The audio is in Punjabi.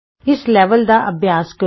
ਇਸ ਲੈਵਲ ਦਾ ਅਭਿਆਸ ਕਰੋ